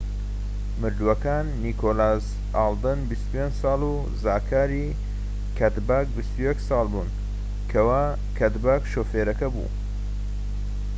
مردووەکان نیکۆلاس ئالدن 25 ساڵ و زاکاری کەدباک 21 ساڵ بوون کەوا کەدباک شوفێرەکە بوو